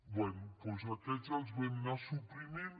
bé doncs aquests els vam anar suprimint